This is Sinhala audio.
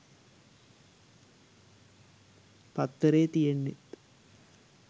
පත්තරේ තියෙන්නෙත්